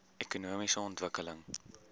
ekonomiese ontwikkeling